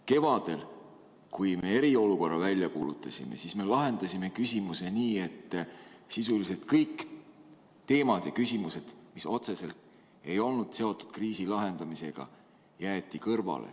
Kevadel, kui me eriolukorra välja kuulutasime, siis me lahendasime küsimuse nii, et sisuliselt kõik teemad ja küsimused, mis otseselt ei olnud seotud kriisi lahendamisega, jäeti kõrvale.